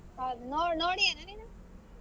ಹೌದ ನೋಡ್ ನೋಡಿಯಣ ನೀನು?